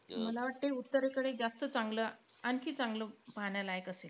मला वाटतं उत्तरेकडे जास्त चांगलं आणखी चांगलं पाहण्यालायक असेल.